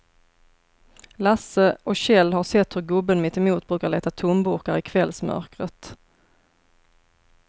Lasse och Kjell har sett hur gubben mittemot brukar leta tomburkar i kvällsmörkret.